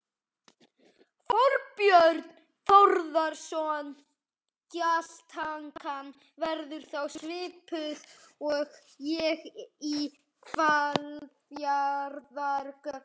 Þorbjörn Þórðarson: Gjaldtakan verður þá svipuð og er í Hvalfjarðargöngum?